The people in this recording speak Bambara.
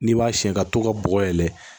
N'i b'a siyɛn ka to ka bɔgɔ yɛlɛ